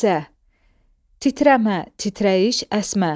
Lərzə, titrəmə, titrəyiş, əsmə.